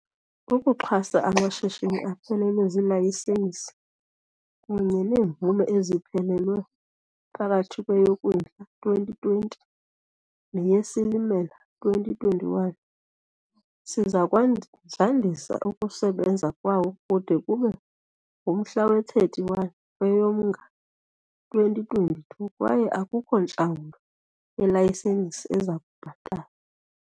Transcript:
Ukuxhasa amashishini aphelelwe zilayisenisi kunye neemvume eziphelelwe phakathi kweyoKwindla 2020 neyeSilimela 2021, sizakwandisa ukusebenza kwawo kude kube ngumhla we-31 kweyoMnga 2022 kwaye akukho ntlawulo yelayisenisi ezakubhatalwa.